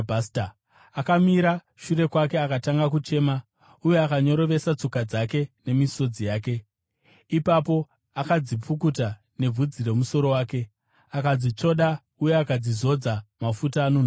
akamira shure kwake akatanga kuchema, uye akanyorovesa tsoka dzake nemisodzi yake. Ipapo akadzipukuta nebvudzi romusoro wake, akadzitsvoda uye akadzizodza mafuta anonhuhwira.